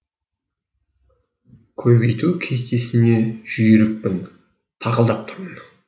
көбейту кестесіне жүйрікпін тақылдап тұрмын